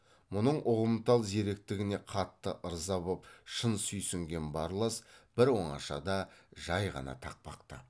мұның ұғымтал зеректігіне қатты ырза боп шын сүйсінген барлас бір оңашада жай ғана тақпақтап